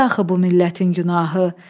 Nədi axı bu millətin günahı.